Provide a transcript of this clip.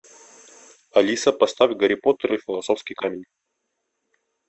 алиса поставь гарри поттер и философский камень